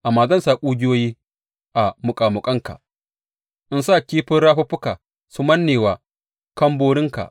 Amma zan sa ƙugiyoyi a muƙamuƙanka in sa kifin rafuffukanka su manne wa kamɓorinka.